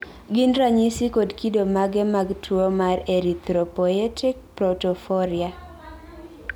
gin ranyisi kod kido mage mag tuwo mar Erythropoietic protoporphyria?